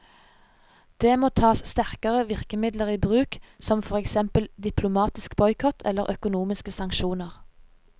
Det må tas sterkere virkemidler i bruk, som for eksempel diplomatisk boikott eller økonomiske sanksjoner.